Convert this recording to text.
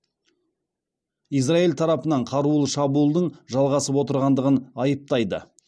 израиль тарапынан қарулы шабуылдың жалғасып отырғандығын айыптайды